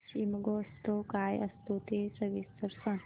शिमगोत्सव काय असतो ते सविस्तर सांग